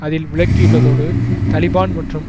அதில் விளக்கியுள்ளதோடு தலிபான் மற்றும்